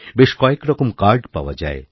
বেশ কয়েকরকম কার্ডপাওয়া যায়